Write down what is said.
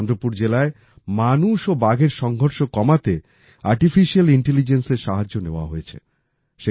চন্দ্রপুর জেলায় মানুষ ও বাঘের সংঘর্ষ কমাতে আর্টিফিশিয়াল Intelligenceএর সাহায্য নেওয়া হয়েছে